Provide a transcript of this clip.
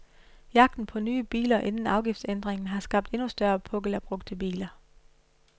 Jagten på nye biler inden afgiftsændringen har skabt endnu større pukkel af brugte biler.